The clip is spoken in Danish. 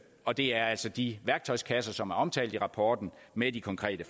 og det er altså de værktøjskasser som er omtalt i rapporten med de konkrete